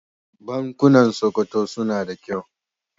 Bankunan Sokoto suna da kyau.